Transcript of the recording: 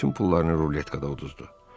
O bütün pullarını ruletkada uduzdu.